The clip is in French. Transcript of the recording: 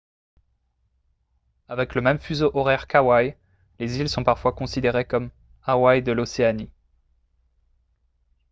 avec le même fuseau horaire qu’hawaï les îles sont parfois considérées comme « hawaï de l’océanie »